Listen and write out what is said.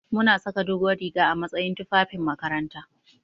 Muna saka dogon riga a matsayin fufafin makaranta.